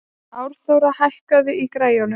Árþóra, hækkaðu í græjunum.